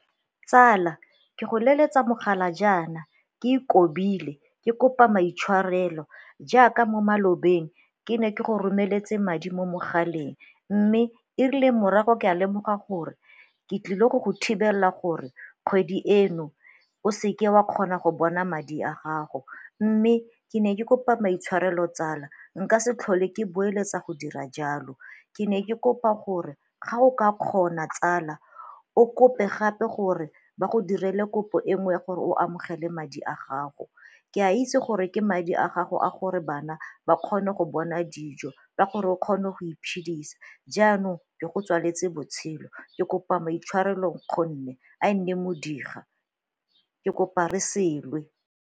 Tsala ke go leletsa mogala jaana ke ikobile ke kopa maitshwarelo jaaka mo malobeng ke ne ke go romeletse madi mo mogaleng mme e rile morago ke a lemoga gore ke tlile go go thibela gore kgwedi eno o seke wa kgona go bona madi a gago, mme ke ne ke kopa maitshwarelo tsala, nka se tlhole ke boeletsa go dira jalo. Ke ne ke kopa gore ga o ka kgona tsala o kope gape gore ba go direle kopo e nngwe gore o amogele madi a gago. Ke a itse gore ke madi a gago a gore bana ba kgone go bona dijo ba gore o kgone go iphidisa jaanong ke go tswaletse botshelo ke kopa maitshwarelo nkgonne a e nne modiga ke kopa re se lwe.